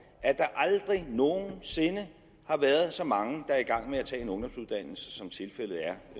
at der aldrig nogen sinde har været så mange der i gang med at tage en ungdomsuddannelse som tilfældet er